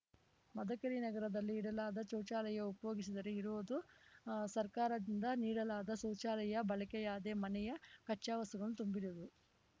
ಮದಕರಿ ನಗರದಲ್ಲಿ ಇಡಲಾದ ಶೌಚಾಲಯ ಉಪಯೋಗಿಸದರೆ ಇರುವುದು ಸರ್ಕಾರದದಿಂದ ನೀಡಲಾದ ಶೌಚಾಲಯ ಬಳಕೆಯಾದೇ ಮನೆಯ ಕಚ್ಚಾವಸ್ತುಗಳನ್ನು ತುಂಬಿರುವುದು